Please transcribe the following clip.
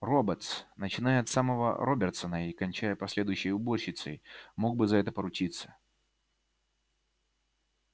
роботс начиная от самого робертсона и кончая последующей уборщицей мог бы за это поручиться